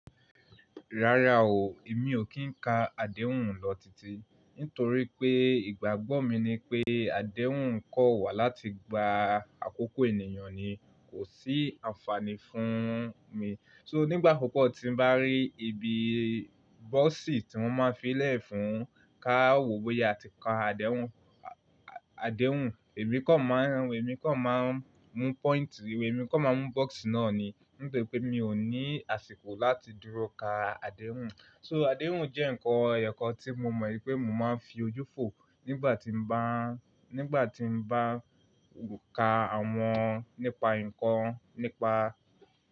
Rárá o, èmi ò kí ń ka adehùn lọ titi, nítorí pé ìgbàgbọ́ mi ni pé adehùn kọ́ wa láti gba àkókò ènìyàn ni kò sí àǹfààní fún un mi. So nígbà púpò tí n bá rí ibi bọ́ọ̀sì tí wọ́n máa fí í lẹ̀ fún káwò bóyá a ti ka adehùn, adehùn, èmi kọ̀ máa ń, èmi kọ̀ máa ń mú point, èmi kọ̀ máa mú box náà ni nítorí pé mi ò ní àsìkò láti dúró ka adehùn. So adehùn jẹ́ ǹkan èyokàn tí mo mọ̀ wípé mo máa ń fi ojú fò nígbà tí mo bá, nígbà tí mo bá ka àwọn nípa ǹkan nípa.